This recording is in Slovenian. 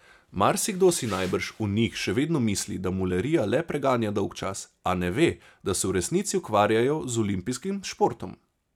Marsikdo si najbrž o njih še vedno misli, da mularija le preganja dolgčas, a ne ve, da se v resnici ukvarjajo z olimpijskim športom.